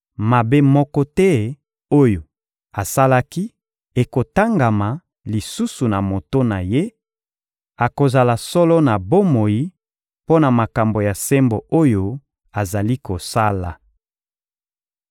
Mabe moko te oyo asalaki ekotangama lisusu na moto na ye; akozala solo na bomoi mpo na makambo ya sembo oyo azali kosala.